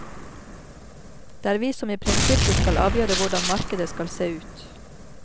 Det er vi som i prinsippet skal avgjøre hvordan markedet skal se ut.